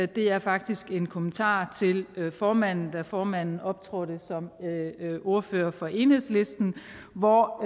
det er faktisk en kommentar til formanden da formanden optrådte som ordfører for enhedslisten hvor